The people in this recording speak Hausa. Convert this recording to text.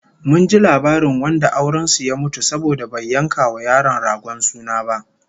Mun ji labarin wanda auren su ya mutu saboda bai yanka wa yaro ragon suna ba